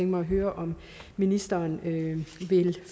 mig at høre om ministeren vil